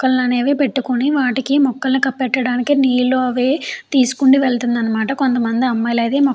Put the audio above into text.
మొక్కల్ని అనేవి పెట్టుకుని వాటికి మొక్కలు పెట్టటానికి నీళ్లు అవి తీసుకుని వెళుతుంది అనమాట. కొంతమంది అమ్మాయిలు అయితే --